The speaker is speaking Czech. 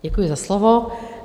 Děkuji za slovo.